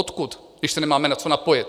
Odkud, když se nemáme na co napojit?